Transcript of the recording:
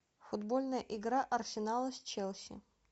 футбольная игра арсенала с челси